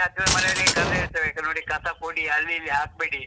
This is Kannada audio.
ಹತ್ತಿರ ಮನೆಯವರಿಗೆ ಕರ್ದ್‌ ಹೇಳ್ತೇವೆ, ನೋಡಿ ಕಸ ಕೊಡಿ ಅಲ್ಲಿ ಇಲ್ಲಿ ಹಾಕ್ಬೇಡಿ.